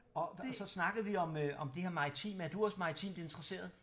Og så snakkede vi om øh om det her maritime er du også maritimt interesseret?